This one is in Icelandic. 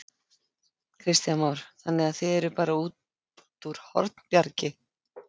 Kristján Már: Þannig að þið eruð bara út úr Hornbjargi?